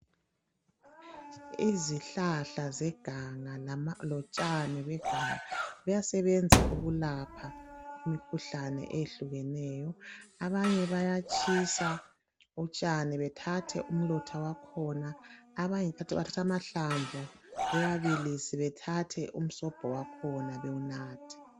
Izihlahla zeganga lotshani beganga kuyasebenza ukulapha imikhuhlane eyehlukeneyo. Abanye bayatshisa utshani bethathe umlotha wakhona abanye kanti bathatha amahlamvu bewabilise bethathe umsobho wakhona bewunathe.